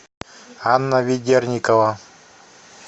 анна ведерникова